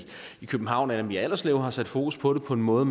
københavn anna mee allerslev har sat fokus på det på en måde